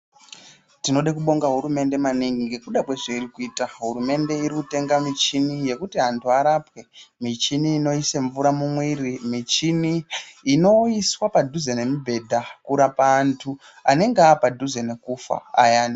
Tinode kubonga hurumende maningi ngekuda kwezveiri kuita. Hurumende iri kutenga michini yekuti antu arapwe, michini inoise mvura mumwiiri, michini inoiswa padhuze nemubhedha kurapa antu anenge aapadhuze nekufa ayani.